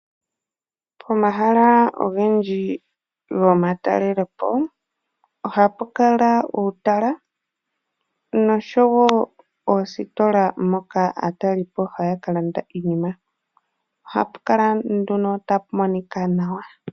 Pomahala ogendji gomatalelopo ohapu kala uutala noshowo oositola moka aatalelipo haya kalanda iinima. Ohapu kala nduno tapu monika nawa.